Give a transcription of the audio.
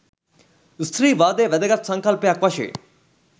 ස්ත්‍රීවාදය වැදගත් සංකල්පයක් වශයෙන්